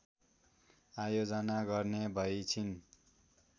आयोजना गर्ने भइछिन्